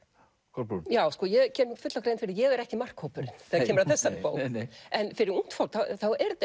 Kolbrún já ég geri mér fulla grein fyrir að ég er ekki markhópurinn þegar kemur að þessari bók en fyrir ungt fólk er þetta